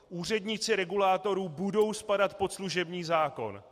Úředníci regulátorů budou spadat pod služební zákon.